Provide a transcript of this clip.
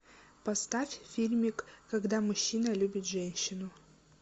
поставь фильмик когда мужчина любит женщину